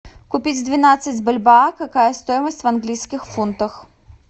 купить двенадцать бальбоа какая стоимость в английских фунтах